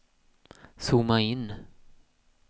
zooma in